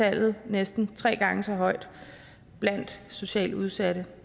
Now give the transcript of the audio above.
andelen næsten tre gange så høj blandt socialt udsatte